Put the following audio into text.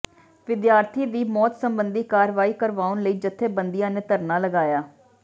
ਵਿਦਿਆਰਥੀ ਦੀ ਮੌਤ ਸਬੰਧੀ ਕਾਰਵਾਈ ਕਰਵਾਉਣ ਲਈ ਜਥੇਬੰਦੀਆਂ ਨੇ ਧਰਨਾ ਲਗਾਇਆ